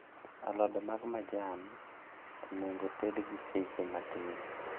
Alode mag majan onego ted gi seche matin